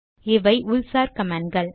இவை உள்சார் கமாண்ட் கள்